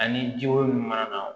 Ani ji ko min mana na